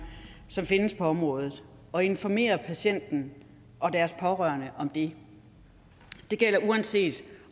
som findes på området og informere patienterne og deres pårørende om det det gælder uanset